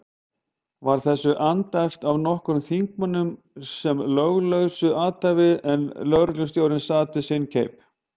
Var þessu andæft af nokkrum þingmönnum sem löglausu athæfi, en lögreglustjóri sat við sinn keip.